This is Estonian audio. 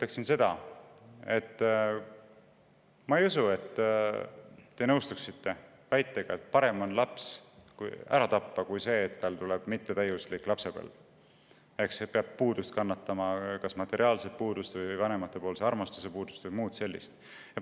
Esiteks, ma ei usu, et te nõustute väitega, et parem on see laps ära tappa kui see, et tal tuleb mittetäiuslik lapsepõlv ja ta peab puudust kannatama, kas materiaalset puudust või puudust vanemate armastusest või muud sellist.